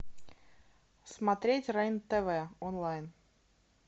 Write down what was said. смотреть рен тв онлайн